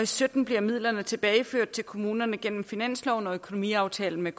sytten bliver midlerne tilbageført til kommunerne igennem finansloven og økonomiaftalen med